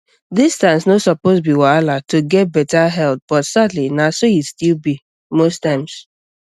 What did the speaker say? distance no suppose be wahala to get better health but sadly na so e still be most times